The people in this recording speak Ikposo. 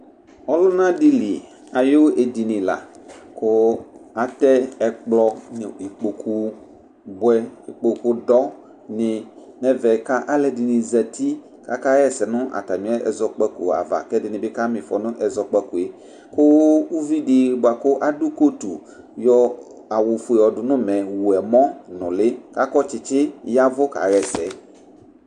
ɔluna dili ayu édini lăkU atɛ ɛkplɔ nu ikpokpu buɛ ikpokpu dɔ ni nɛ ɛvɛ ka alɛdini zɛti ka ka yɛsɛ nu atami ɛzɔkpaku ava kɛ ɛdini bi ka mifɔ nu ɛzɔkpakué ku uvidi boa ku adu kotu yɔ awu fué yɔdu nu umɛ wu mɔ nuli ka kɔ tchitchi yavu ka yɛsɛ